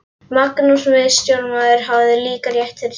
Magnús miðstjórnarmaður hafði líka rétt fyrir sér.